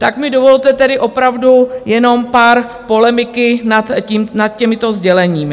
Tak mi dovolte tedy opravdu jenom pár polemiky nad těmito sděleními.